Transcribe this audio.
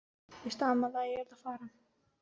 Ég stamaði að ég yrði að fara heim.